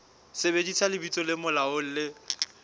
sebedisa lebitso le molaong le